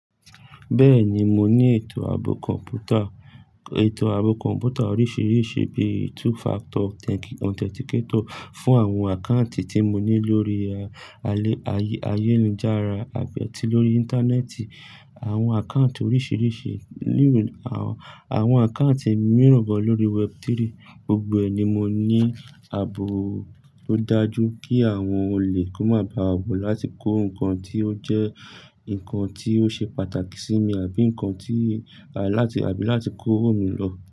Bẹ́ẹ̀ni, mo ní ètò ààbò kọ̀m̀pútà, ètò ààbò kọ̀m̀pútà oríṣìíríṣìí bíi two factor authenticator fún àwọn àkáǹtì tí mo ní lórí ayélujára àbí tí lórí íńtánẹ́ẹ̀tì, àwọn àkáǹtì oríṣìíríṣìí, àwọn àkáǹtì mìíràn ń bẹ lórí Web3. Gbogbo ẹ ni mo ní ààbò tó dájú kí àwọn òlè kan máa baa bò láti kó ǹkan tí ó jẹ́ ǹkan tí ó ṣe pàtàkì sími, àbí ǹkan tí láti àbí láti kó owó mi lọ.